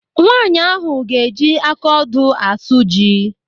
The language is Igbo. Nwaanyị ahụ ga-eji aka odo asụ ji ahụ.